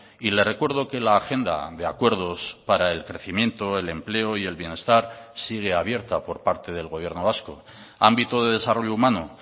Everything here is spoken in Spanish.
y le recuerdo que la agenda de acuerdos para el crecimiento el empleo y el bienestar sigue abierta por parte del gobierno vasco ámbito de desarrollo humano